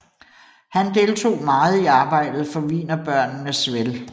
Han deltog meget i arbejdet for Wienerbørnenes vel